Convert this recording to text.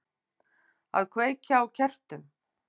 Að kveikja á kertum.